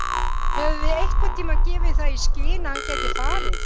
Höfum við einhverntímann gefið það í skyn að hann gæti farið?